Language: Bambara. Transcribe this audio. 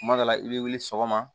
Kuma dɔ la i bɛ wuli sɔgɔma